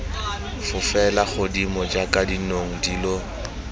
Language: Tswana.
fofele godimo jaaka dinong dilo